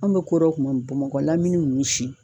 Anw be ko dɔ kuma min bamakɔla lamini nunnu si